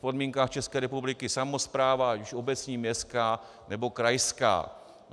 V podmínkách České republiky samospráva, ať už obecní, městská, nebo krajská.